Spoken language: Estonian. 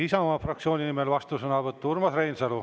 Isamaa fraktsiooni nimel vastusõnavõtt, Urmas Reinsalu.